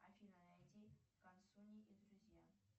афина найди консуни и друзья